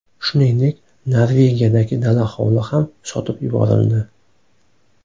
Shuningdek Norvegiyadagi dala-hovli ham sotib yuborildi.